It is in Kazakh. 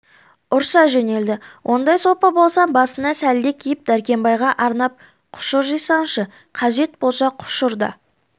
ұрса жөнелді ондай сопы болсаң басыңа сәлде киіп дәркембайға арнап құшыр жисаңшы қажет болса құшыр да